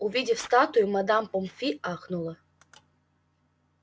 увидев статую мадам помфри ахнула